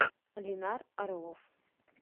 ленар орлов